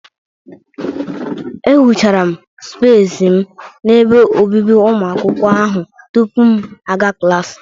Ehuchara m spesi m n'ebe obibi ụmụ akwụkwọ ahụ tupu m aga klaasị.